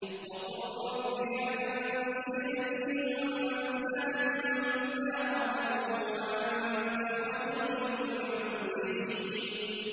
وَقُل رَّبِّ أَنزِلْنِي مُنزَلًا مُّبَارَكًا وَأَنتَ خَيْرُ الْمُنزِلِينَ